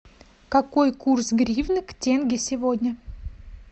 какой курс гривны к тенге сегодня